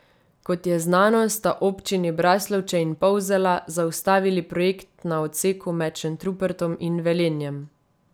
Kot je znano, sta občini Braslovče in Polzela zaustavili projekt na odseku med Šentrupertom in Velenjem.